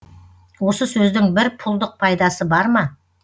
осы сөздің бір пұлдық пайдасы бар ма